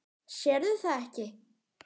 Sérð það ekki.